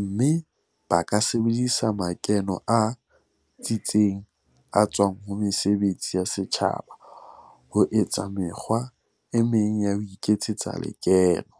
mme ba ka sebedisa makeno a tsitseng a tswang ho mesebetsi ya setjhaba ho etsa mekgwa e meng ya ho iketsetsa lekeno.